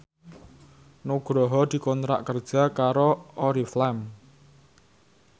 Nugroho dikontrak kerja karo Oriflame